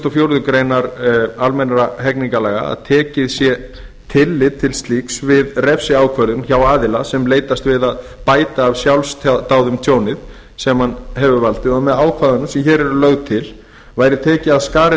fjórðu grein almennra hegningarlaga að tekið skuli tillit til slíks við refsiákvörðun hjá aðila sem leitast við að bæta af sjálfsdáðum tjón sem hann hefur valdið og með ákvæðum sem hér eru lögð til yrði tekið af skarið